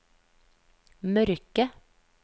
mørke